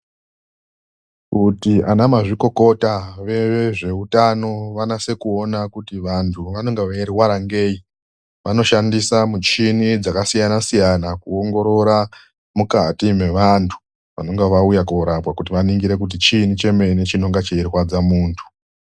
Kuti anamazvikokota vezveutano vanase kuona kuti vantu vanenge veirwara ngei ,vanoshandisa michini dzakasiyasiyana kuongorora mukati mevantu vanenge vauya kuzorapwa kuti vaningire kuti chiini chimene chinonga cheirwadza muntu.